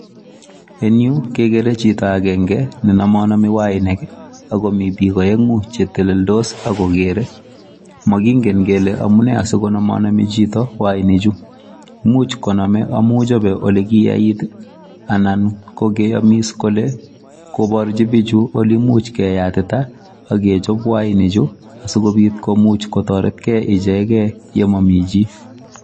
Eng yu kekere chito akenke nenomonomi wainik akomi biik aeng'u cheteleldos akokere. Mokingen kele amune asikonomonomi chito wainichu, much kochope amu mi olekikoyait anan ko keyomis kole koporchi bichu olemuch keyatita akechop wainichu asikobit komuch kotoretkei ichegei yemomi chii.